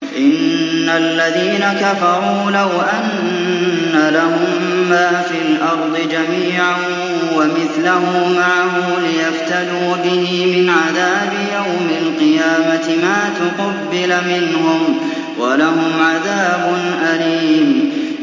إِنَّ الَّذِينَ كَفَرُوا لَوْ أَنَّ لَهُم مَّا فِي الْأَرْضِ جَمِيعًا وَمِثْلَهُ مَعَهُ لِيَفْتَدُوا بِهِ مِنْ عَذَابِ يَوْمِ الْقِيَامَةِ مَا تُقُبِّلَ مِنْهُمْ ۖ وَلَهُمْ عَذَابٌ أَلِيمٌ